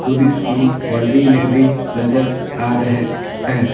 Police की वर्दी में भी नजर आ रहे हैं।